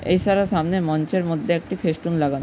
এই সারা সামনের মঞ্চের মধ্যে একটি ফেস্টুন লাগানো।